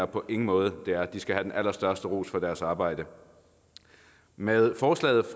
på ingen måde det er de skal have den allerstørste ros for deres arbejde med forslaget